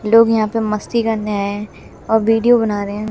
लोग यहां पे मस्ती करने आए हैं और वीडियो बना रहे हैं।